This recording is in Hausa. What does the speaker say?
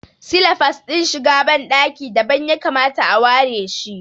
Silafas din shiga ban ɗaki dabam ya kamata a ware shi